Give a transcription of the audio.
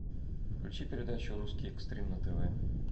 включи передачу русский экстрим на тв